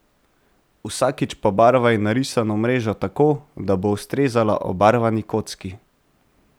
Vsakič pobarvaj narisano mrežo tako, da bo ustrezala obarvani kocki.